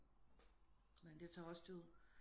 Men det tager også tid